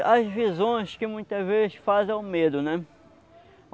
as visões que muitas vezes fazem é o medo, né?